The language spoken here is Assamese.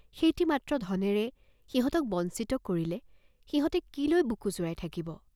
সেইটি মাত্ৰ ধনেৰে সিঁহতক বঞ্চিত কৰিলে সিঁহতে কি লৈ বুকু জুৰাই থাকিব?